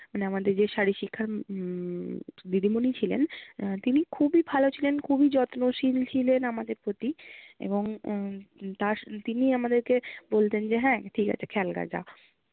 মানে আমাদের যে উম শারীরিক শিক্ষা উম দিদিমনি ছিলেন তিনি খুবই ভালো ছিলেন, খুবই যত্নশীল ছিলেন আমাদের প্রতি। এবং উম তিনি আমাদেরকে বলতেন যে হ্যাঁ ঠিক আছে খেলগা যা